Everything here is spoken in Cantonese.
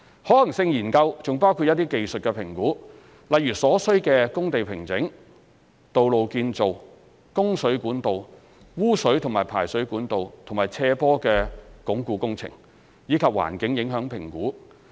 可行性研究還包括一些技術評估，例如所需的工地平整、道路建造、供水管道、污水及排水管道和斜坡鞏固工程，以及環境影響評估。